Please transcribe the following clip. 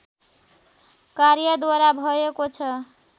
कार्यद्वारा भएको छ